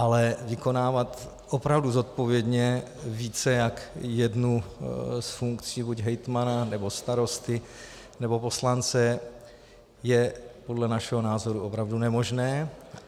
Ale vykonávat opravdu zodpovědně více jak jednu z funkcí buď hejtmana, nebo starosty, nebo poslance je podle našeho názoru opravdu nemožné.